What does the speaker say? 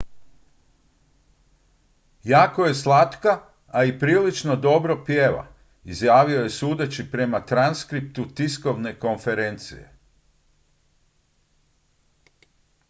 jako je slatka a i prilično dobro pjeva izjavio je sudeći prema transkriptu tiskovne konferencije